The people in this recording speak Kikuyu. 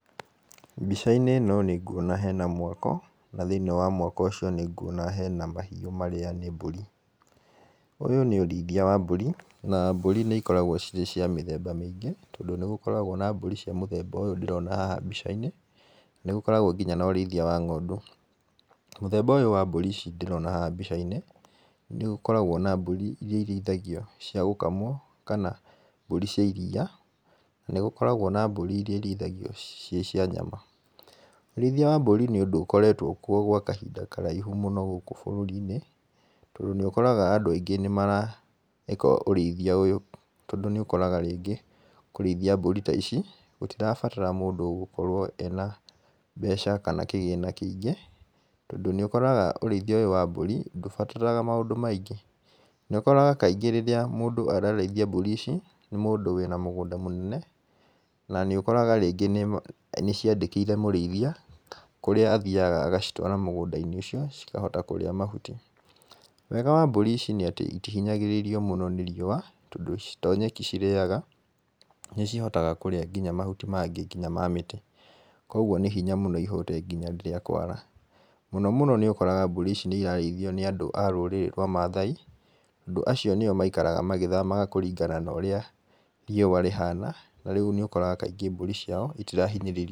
Mbica-inĩ ĩno nĩnguona hena mwako na thĩini wa mwako ũcio nĩnguona hena mahiũ marĩa nĩ mbũri. Ũyũ nĩ ũrĩithia wa mbũri, na mbũrĩ nĩ ikoragwo cirĩ cia mĩthemba mĩingĩ, tondũ nĩ gũkoragwo na mbũri cia mũthemba ũyũ ndĩrona haha mbica-inĩ, nĩgũkoragwo nginya na ũrĩithia wa ng'ondu . Mũthemba ũyũ wa mbũri ici ndĩrona haha mbica-inĩ, nĩ gũkoragwo na mbũri iria irĩithagio cia gũkamwo kana mbũri cia iria na nĩgũkoragwo na mbũri iria irĩithagio ciĩ cia nyama. Ũrĩithia wa mbũri nĩ ũndũ ũkoretwo kuo gwa kahinda karaihu mũno gũkũ bũrũri-inĩ. Tondũ nĩũkoraga andũ aingĩ nĩmareka ũrĩithia ũyũ tondũ nĩũkoraga rĩngĩ kũrĩithia mbũri ta ici gũtirabatara mũndũ ũgũkorwo ena mbeca kana kĩgĩna kĩingĩ, tondũ nĩ ũkoraga ũrĩithia ũyũ wa mbũri ndũbataraga maũndũ maingĩ. Nĩũkoragwa kaingĩ rĩrĩa mũndũ ararĩithia mbũri ici nĩ mũndũ wĩna mũgũnda mũnene na nĩũkoragwa rĩngĩ niaciandkĩire mũrĩithia, kũria athiaga agacitwara mũgũnda-inĩ ucio cikahota kũrĩa mahuti. Wega wa mbũri ici nĩ atĩ itihinyagĩrĩrio mũno nĩ riua tondũ to nyeki cireaga, nĩ cihotaga kũrĩa nginya mahuti mangĩ nginya ma mĩtĩ. Kuoguo nĩ hinya mũno ihũte nginya rĩrĩa kwara. Mũno mũno nĩũkoraga mbũri ici nĩirarĩithio nĩandũ a rũrĩrĩ rwa Maathai. Tondũ acio nĩo maikaraga magĩthamaga kũringana na ũrĩa rĩua rĩhana na rĩu nĩukoraga kaingĩ mbũri ciao ĩtirahinyiririo.